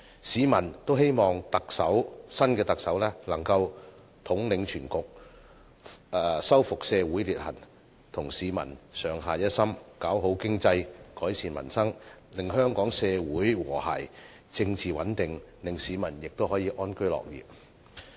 市民都希望新特首能夠統領全局、修復社會裂痕，與市民上下一心，搞好經濟，改善民生，令香港社會和諧，政治穩定，市民得以安居樂業。